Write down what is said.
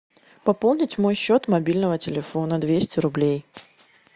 пополнить мой счет мобильного телефона двести рублей